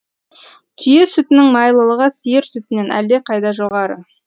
түйе сүтінің майлылығы сиыр сүтінен әлдеқайда жоғары